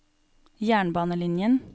jernbanelinjen